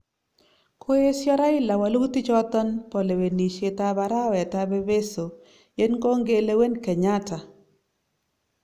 Koiesio Raila walutik choton bo lewenisiet ab arawet ab Epeeso yeny konge lewen Kenyatta